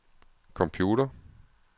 computer